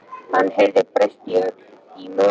Hann heyrði bresta í möl og leit upp.